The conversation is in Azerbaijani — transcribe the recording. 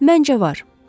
Məncə, var.